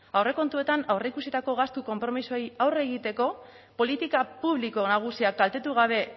aurrekontuetan aurreikusitako gastu konpromisoei aurre egiteko politika publiko nagusiak kaltetu gabe